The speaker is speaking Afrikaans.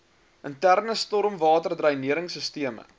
interne stormwaterdreinering sisteme